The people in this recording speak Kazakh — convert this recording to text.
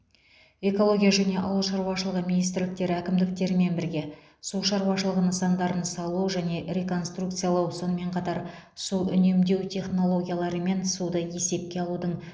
экология және ауыл шаруашылығы министрліктері әкімдіктермен бірге су шаруашылығы нысандарын салу және реконструкциялау сонымен қатар су үнемдеу технологиялары мен суды есепке алудың